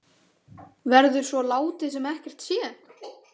Verður svo látið sem ekkert sé?